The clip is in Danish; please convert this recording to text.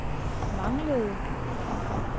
manglede